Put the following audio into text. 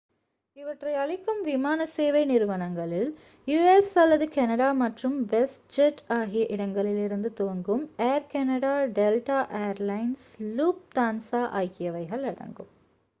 இவற்றை அளிக்கும் விமானசேவை நிறுவனங்களில் யு.எஸ் அல்லது கேனடா மற்றும் வெஸ்ட் ஜெட் ஆகிய இடங்களிலிருந்து துவங்கும் Air Canada Delta Air Lines Lufthansa ஆகியவைகள் அடங்கும்